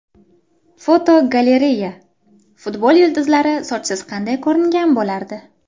Fotogalereya: Futbol yulduzlari sochsiz qanday ko‘ringan bo‘lardi?.